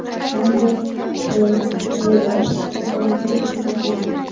hamda Sh.R.lar shifoxonaga yotqizilgan.